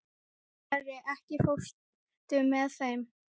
Starri, ekki fórstu með þeim?